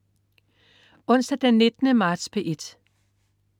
Onsdag den 19. marts - P1: